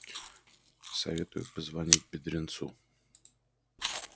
советую позвонить бедренцу